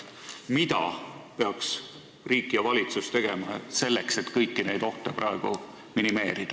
Mida peaks riik ja valitsus tegema selleks, et kõiki neid ohte minimeerida?